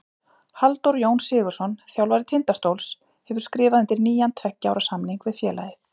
Halldór Jón Sigurðsson, þjálfari Tindastóls, hefur skrifað undir nýjan tveggja ára samning við félagið.